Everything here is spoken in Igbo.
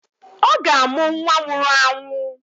Ọ ga-amụ nwa nwụrụ anwụ